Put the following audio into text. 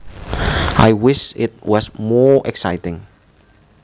I wish it was more exciting